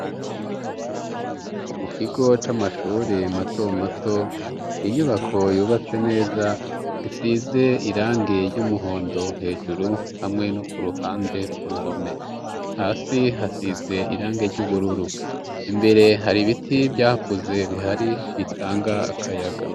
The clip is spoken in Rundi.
Mu kigo c'amashuri mato mato ninyubako yubatse neza isize irange ry'umuhondo hejuru hamwe no ku ruhande ku ruhome, hasi hasize irange ry'ubururu imbere hari ibiti vyakuze bihari bitanga akayaga.